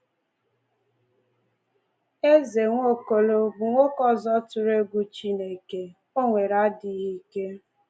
Eze Nwaokolo bụ nwoke ọzọ tụrụ egwu Chineke, onye nwere adịghị ike.